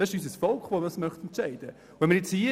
Es ist unser Volk, das entscheiden möchte.